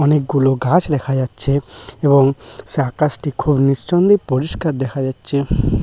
অনেকগুলো গাছ লেখা যাচ্ছে এবং সে আকাশটি খুব নিঃসন্দে পরিষ্কার দেখা যাচ্ছে।